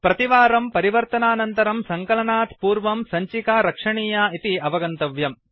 प्रतिवारं परिवर्तनानन्तरं सङ्कलनात् पूर्वं सञ्चिका रक्षणीया इति अवगन्तव्यम्